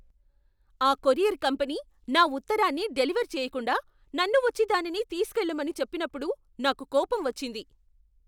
ఆ courier company నా ఉత్తరాన్ని డెలివర్ చేయకుండా, నన్ను వచ్చి దానిని తీసుకెళ్ళమని చెప్పినప్పుడు నాకు కోపం వచ్చింది.